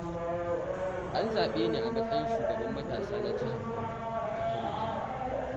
An zaɓe ni a matsayin shugaban matasa na jihar Kano, a karo na biyu.